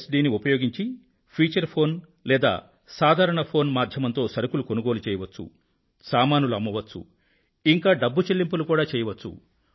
D ని ఉపయోగించి feature phone లేదా సాధారణ ఫోన్ మాధ్యమంతో సరుకులు కొనుగోలు చేయవచ్చు సామానులు అమ్మవచ్చు ఇంకా డబ్బు చెల్లింపులు కూడా చేయవచ్చు